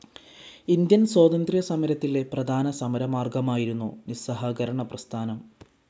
Indian സ്വാതന്ത്ര്യ സമരത്തിലെ പ്രധാന സമരമാർഗമായിരുന്നു നിസ്സഹകരണ പ്രസ്ഥാനം.